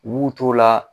U b'u t'o la